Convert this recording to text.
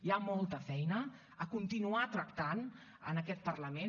hi ha molta feina a continuar tractant en aquest parlament